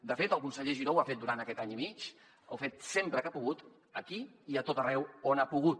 de fet el conseller giró ho ha fet durant aquest any i mig ho ha fet sempre que ha pogut aquí i a tot arreu on ha pogut